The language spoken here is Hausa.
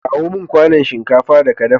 Kawo mun kwanon shinkafa da ka dafa